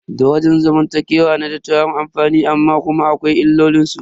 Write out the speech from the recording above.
Daraja zamantakewa na da tarin amfani amma kuma akwai illolin su.